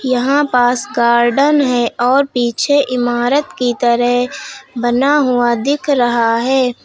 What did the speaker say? यहां पास गार्डन है और पीछे इमारत की तरह बना हुआ दिख रहा है।